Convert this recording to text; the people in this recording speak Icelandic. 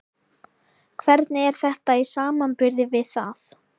Hvernig er þetta í samanburði við það?